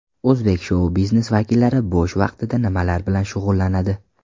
O‘zbek shou-biznes vakillari bo‘sh vaqtida nimalar bilan shug‘ullanadi?.